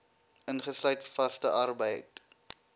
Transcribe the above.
ingesluit vaste arbeid